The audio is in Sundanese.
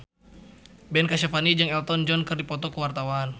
Ben Kasyafani jeung Elton John keur dipoto ku wartawan